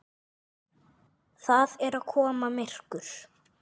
Það er að koma myrkur.